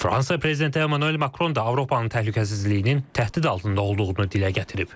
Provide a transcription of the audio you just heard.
Fransa prezidenti Emmanuel Makron da Avropanın təhlükəsizliyinin təhdid altında olduğunu dilə gətirib.